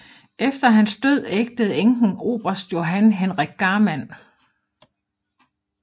Efter hans død ægtede enken oberst Johan Henrik Garman